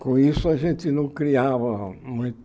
Com isso a gente não criava muito.